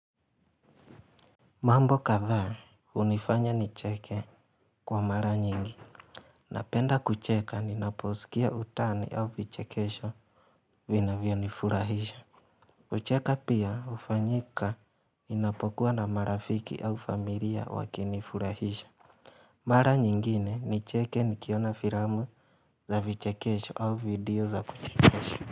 Mambo kadhaa hunifanya nicheke kwa mara nyingi Napenda kucheka ninaposikia utani au vichekesho vinavyo nifurahisha kucheka pia hufanyika ninapokuwa na marafiki au familia wakinifurahisha Mara nyingine nicheke nikiona filamu za vichekesho au video za kuchekesha.